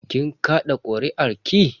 Kin kaɗa kuri'arki?